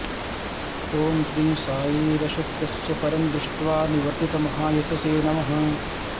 ॐ श्री साई रसोऽप्यस्य परं दृष्ट्वा निवर्तितमहायशसे नमः